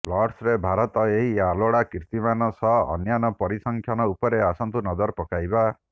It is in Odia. ଲର୍ଡସ୍ରେ ଭାରତର ଏହି ଅଲୋଡ଼ା କୀର୍ତ୍ତିମାନ ସହ ଅନ୍ୟାନ୍ୟ ପରିସଂଖ୍ୟାନ ଉପରେ ଆସନ୍ତୁ ନଜର ପକାଇବା